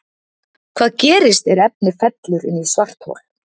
Hvað gerist er efni fellur inn í svarthol?